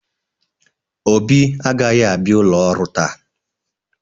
Obi agaghị abịa ụlọ ọrụ taa.